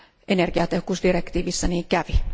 Energiatehokkuusdirektiivissä niin kävi.